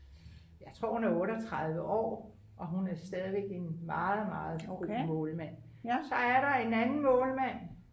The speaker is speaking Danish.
jeg tror hun er 38 år og hun er stadig en meget meget god målmand så er der en anden målmand